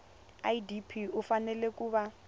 idp u fanele ku va